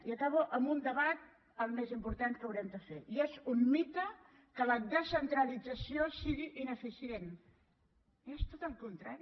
i acabo amb un debat el més important que haurem de fer i és un mite que la descentralització sigui ineficient és tot el contrari